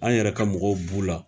An yɛrɛ ka mɔgɔw b'u la